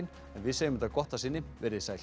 en við segjum þetta gott að sinni verið þið sæl